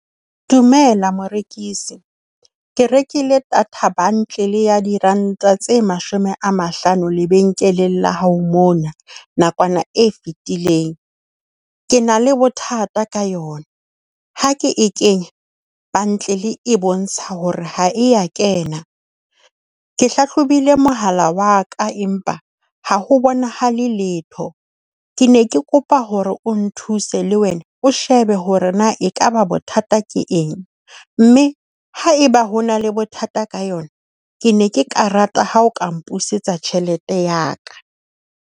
Dumela morekisi. Ke rekile data bundle ya diranta tse mashome a mahlano lebenkeleng la hao mona nakwana e fetileng. Ke na le bothata ka yona. Ha ke e kenye bundle e bontsha hore ha e a kena. Ke hlahlobile mohala wa ka, empa ha ho bonahale letho. Ke ne ke kopa hore o nthuse le wena. O shebe hore na ekaba bothata ke eng, mme haeba ho na le bothata ka yona, ke ne ke ka rata ha o ka mpusetsa tjhelete ya ka.